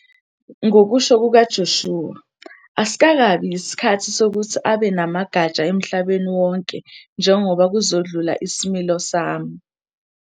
Ngokusho kukaJoshua, "asikakabi yisikhathi" sokuthi abe namagatsha emhlabeni wonke njengoba "kuzodlula isimilo sami.